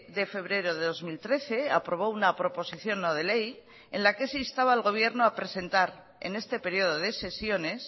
de febrero de dos mil trece aprobó una proposición no de ley en la que se instaba al gobierno a presentar en este periodo de sesiones